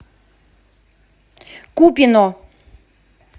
купино